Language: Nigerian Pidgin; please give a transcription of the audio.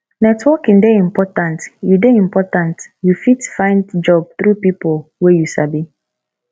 networking dey important you dey important you fit find job through pipo wey you sabi